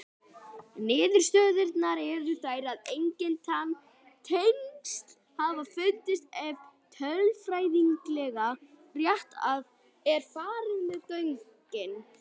Niðurstöðurnar eru þær að engin tengsl hafa fundist ef tölfræðilega rétt er farið með gögnin.